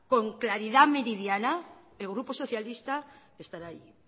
con claridad meridiana el grupo socialista estará ahí